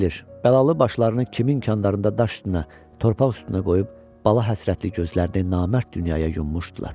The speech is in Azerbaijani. Kim bilir, bəlalı başlarını kimin kəndlərində daş üstünə, torpaq üstünə qoyub bala həsrətli gözlərini namərd dünyaya yummuşdular.